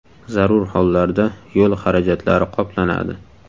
Zarur hollarda yo‘l xarajatlari qoplanadi.